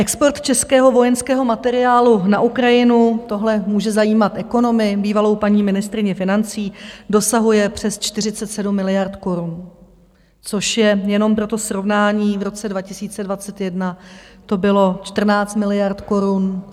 Export českého vojenského materiálu na Ukrajinu, tohle může zajímat ekonomy, bývalou paní ministryni financí, dosahuje přes 47 miliard korun, což je, jenom pro to srovnání, v roce 2021 to bylo 14 miliard korun.